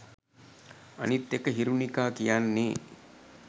අනිත් එක හිරුකිකා කියන්නේ